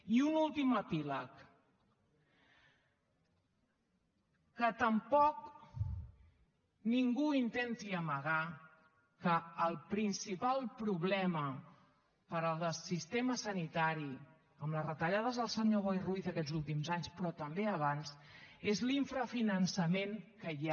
i un últim epíleg que tampoc ningú intenti amagar que el principal problema per al sistema sanitari amb les retallades del senyor boi ruiz aquests últims anys però també abans és l’infrafinançament que hi ha